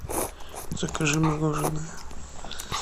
закажи мороженое